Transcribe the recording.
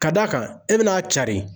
Ka d'a kan ,e bɛna cari.